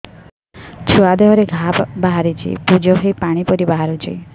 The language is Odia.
ଛୁଆ ଦେହରେ ଘା ବାହାରିଛି ପୁଜ ହେଇ ପାଣି ପରି ବାହାରୁଚି